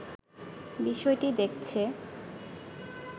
বিষয়টি দেখছে